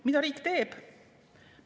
Mida riik teeb?